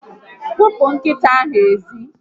Kpopu nkita ahu ezi